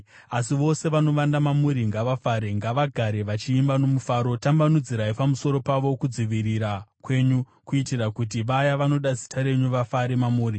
Asi vose vanovanda mamuri ngavafare; ngavagare vachiimba nomufaro. Tambanudzirai pamusoro pavo kudzivirira kwenyu, kuitira kuti vaya vanoda zita renyu vafare mamuri.